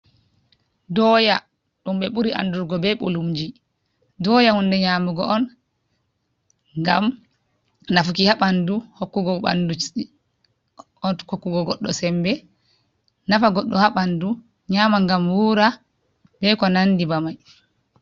Doya dum be buri andurgo be bulumji. Doya hunde nyamugo on gam nafuki habandu hokkugo ɓaŋdu, hokkugo goɗɗo sembe nafa goɗɗo haɓandu nyama gam wura be ko nandi ba mai.